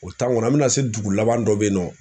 O kɔnɔ an bɛna se dugu laban dɔ bɛ yen nɔ